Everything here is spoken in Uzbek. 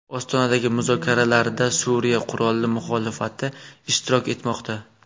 Ostonadagi muzokaralarda Suriya qurolli muxolifati ishtirok etmoqda.